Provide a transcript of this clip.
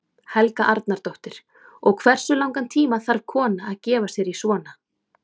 Helga Arnardóttir: Og hversu langan tíma þarf kona að gefa sér í svona?